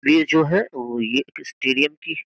यह जो है यह स्टेडियम की --